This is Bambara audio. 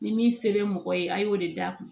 Ni min se bɛ mɔgɔ ye a y'o de d'a ma